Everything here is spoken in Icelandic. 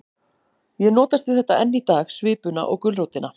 Ég notast við þetta enn í dag, svipuna og gulrótina.